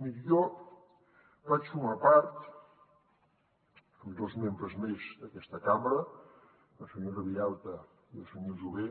miri jo vaig formar part amb dos membres més d’aquesta cambra la senyora vilalta i el senyor jové